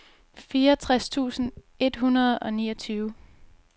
fireogtres tusind et hundrede og niogtyve